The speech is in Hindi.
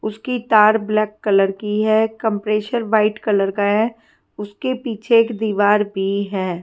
उसकी तार ब्लैक कलर की है कंप्रेसर व्हाइट कलर का है उसके पीछे एक दीवार भी है।